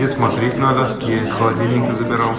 и смотреть надо я из холодильника забирал